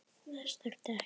Þess þurfti ekki.